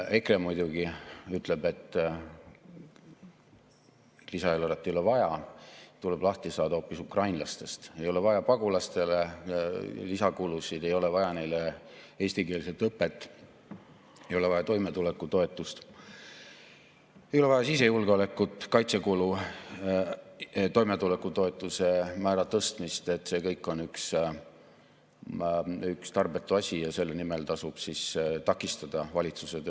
EKRE muidugi ütleb, et lisaeelarvet ei ole vaja, tuleb lahti saada hoopis ukrainlastest, ei ole vaja lisakulutusi pagulastele, ei ole vaja neile eestikeelset õpet, ei ole vaja toimetulekutoetust, ei ole vaja sisejulgeolekut, kaitsekulutusi, toimetulekutoetuse määra tõstmist – see kõik on üks tarbetu asi ja selle nimel tasub takistada valitsuse tööd.